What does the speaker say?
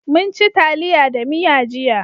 Munci taliya da miya jiya.